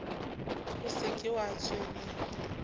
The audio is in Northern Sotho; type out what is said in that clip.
o se ke wa tshwenyega